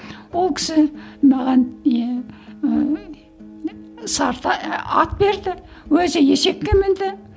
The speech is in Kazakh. ол кісі маған не ыыы ат берді өзі есекке мінді